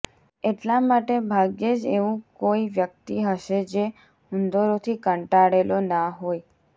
એટલા માટે ભાગ્યે જ એવું કોઈ વ્યક્તિ હશે જે ઉંદરોથી કંટાળેલો ના હોય